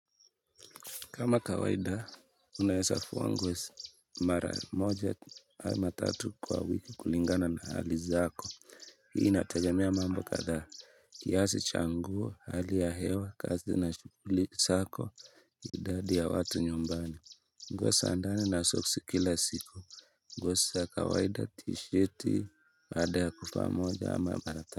Kama kawaida, unaezafua nguo mara moja ama tatu kwa wiki kulingana na hali zako. Hii inategemea mambo kathaa kiasi cha nguo, hali ya hewa, kazi na shukuli zako, idadi ya watu nyumbani. Nguo za ndani na soksi kila siku. Nguo sa kawaida, tisheti, baada ya kufaa moja ama mara ta.